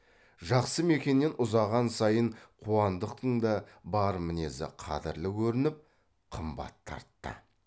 жақсы мекеннен ұзаған сайын қуандықтың да бар мінезі қадірлі көрініп қымбат тартты